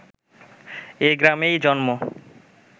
এই গ্রামেই জন্ম